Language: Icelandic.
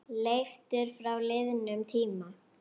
Leiftur frá liðnum tíma.